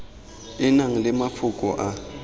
e nang le mafoko a